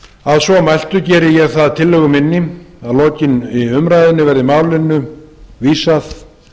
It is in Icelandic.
að svo mæltu geri ég það að tillögu minni að að lokinni umræðunni verði málinu vísað